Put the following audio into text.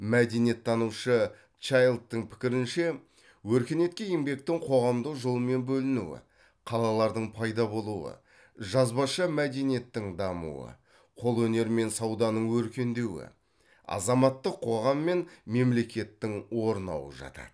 мәдениеттанушы чайлдтың пікірінше өркениетке еңбектің қоғамдық жолмен бөлінуі қалалардың пайда болуы жазбаша мәдениеттің дамуы қолөнер мен сауданың өркендеуі азаматтық қоғам мен мемлекеттің орнауы жатады